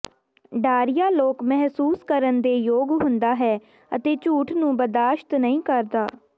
ਡਾਰੀਆ ਲੋਕ ਮਹਿਸੂਸ ਕਰਨ ਦੇ ਯੋਗ ਹੁੰਦਾ ਹੈ ਅਤੇ ਝੂਠ ਨੂੰ ਬਰਦਾਸ਼ਤ ਨਹੀ ਕਰਦਾ ਹੈ